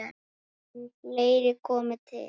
En fleira komi til.